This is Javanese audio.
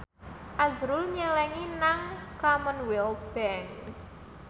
azrul nyelengi nang Commonwealth Bank